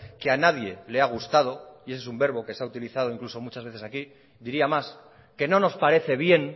que a nadie le ha gustado y ese es un verbo que se ha utilizado incluso muchas veces aquí diría más que no nos parece bien